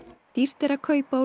dýrt er að kaupa og